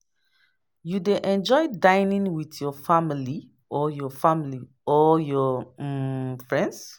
You dey enjoy dinning with your family or your family or your um friends?